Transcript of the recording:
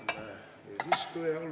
Hea eesistuja!